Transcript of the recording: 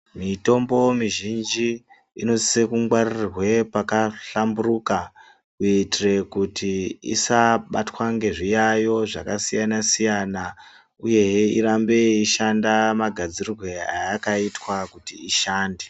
Mitombo mizhinji inosise kungwarirwe pakahlamburuka kuitire kuti isabatwa ngezviyayo zvakasiyana-siyana uyehe irambe yeishanda magadzirirwe eyakaitwa kuti ishande.